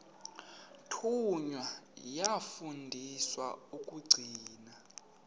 thunywa yafundiswa ukugcina